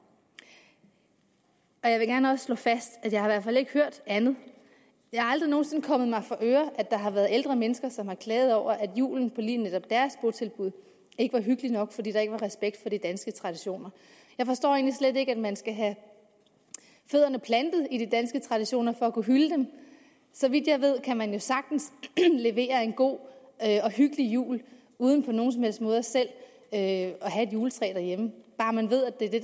jeg vil også gerne slå fast at jeg i hvert fald ikke har hørt andet det er aldrig nogen sinde kommet mig for øre at der har været ældre mennesker som har klaget over at julen på lige netop deres botilbud ikke var hyggelig nok fordi der ikke var respekt for de danske traditioner jeg forstår slet ikke at man skal have fødderne plantet i de danske traditioner for at kunne hylde dem så vidt jeg ved kan man jo sagtens levere en god og hyggelig jul uden på nogen som helst mulig måde selv at have et juletræ derhjemme bare man ved at det er det